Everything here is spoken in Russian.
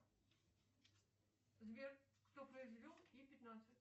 сбер кто произвел и пятнадцать